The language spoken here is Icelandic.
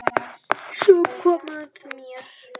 Svo kom að mér.